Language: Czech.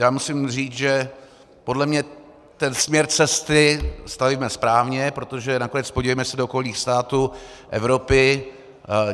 Já musím říct, že podle mě ten směr cesty stavíme správně, protože nakonec podívejme se do okolních států Evropy.